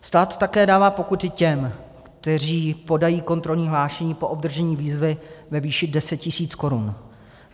Stát také dává pokuty těm, kteří podají kontrolní hlášení po obdržení výzvy ve výši 10 tisíc korun.